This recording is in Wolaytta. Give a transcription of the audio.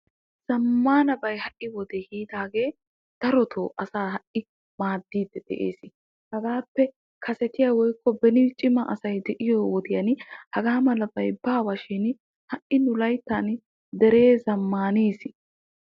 Zammaanabay ha'i wode yiidaagee darotoo asaa ha"i maaddiiddi des. Hagaappe kasetiya woyikko cima asay diyo wodiyan hagaa malabay baawa shin ha"I nu layittan Deree zammaanis.